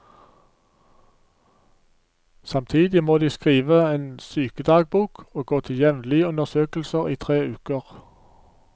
Samtidig må de skrive en sykedagbok og gå til jevnlige undersøkelser i tre uker.